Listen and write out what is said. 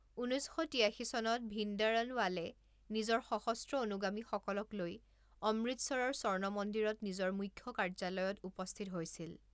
ঊনৈছ শ তিয়াশী চনত ভিন্দৰনৱালে নিজৰ সশস্ত্ৰ অনুগামীসকলক লৈ অমৃতচৰৰ স্বৰ্ণমন্দিৰত নিজৰ মুখ্য কাৰ্যালয়ত উপস্থিত হৈছিল।